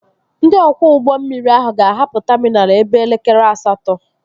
Ndị ọkwọ ụgbọ mmiri ahụ ga-ahapụ taminal ebe elekere asatọ